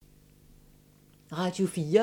Radio 4